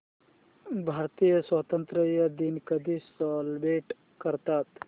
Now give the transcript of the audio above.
भारतीय स्वातंत्र्य दिन कधी सेलिब्रेट करतात